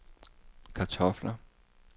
kartofler